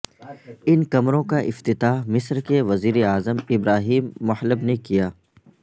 ان کمروں کا افتاتح مصر کے وزیر اعظم ابراہیم محلب نے کیا